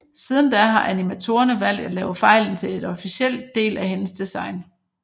Siden da har animatorerne valgt at lave fejlen til et officelt del af hendes design